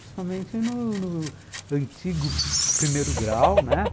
Principalmente no no antigo primeiro grau, né?